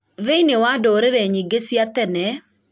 thĩiniĩ wa ndũrĩrĩ nyingĩ cia tene